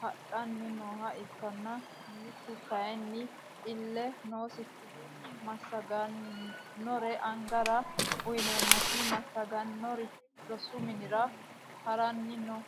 hadhani nooha ikana mitu kayini ille noosikihu masagiranore angara uyineenasi masagirani rosu minira harani noo.